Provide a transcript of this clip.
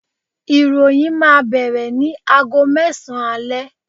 iroyin ma bere nì àgó mesan ale